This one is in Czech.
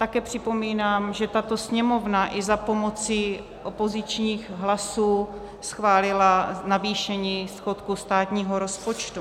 Také připomínám, že tato Sněmovna i za pomoci opozičních hlasů schválila navýšení schodku státního rozpočtu.